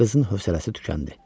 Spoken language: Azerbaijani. Qızın hövsələsi tükəndi.